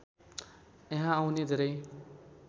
यहाँ आउने धेरै